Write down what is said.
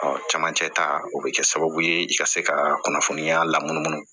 cɛmancɛ ta o bɛ kɛ sababu ye i ka se ka kunnafoniya lamunumunu